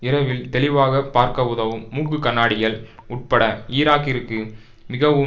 இரவில் தெளிவாக பார்க்க உதவும் மூக்கு கண்ணாடிகள் உட்பட ஈராக்கிற்கு மிகவும்